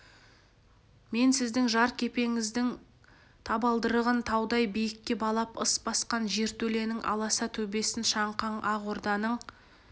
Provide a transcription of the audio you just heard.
мен сіздің жер кепеңіздің табалдырығын таудай биікке балап ыс басқан жертөленің аласа төбесін шаңқаң ақ орданың